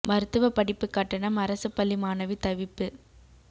மருத்துவ படிப்பு கட்டணம் அரசு பள்ளி மாணவி தவிப்பு